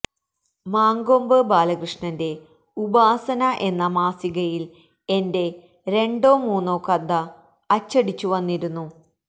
മങ്കൊമ്പ് ബാലകൃഷ്ണന്റെ ഉപാസന എന്ന മാസികയിൽ എന്റെ രണ്ടോ മൂന്നോ കഥ അച്ചടിച്ചു വന്നിരുന്നു